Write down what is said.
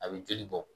A bɛ joli bɔ